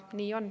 Nii on.